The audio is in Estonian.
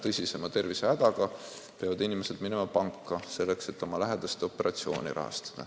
Tõsisema tervisehäda korral peavad inimesed minema panka, et oma või lähedaste operatsiooni eest maksta.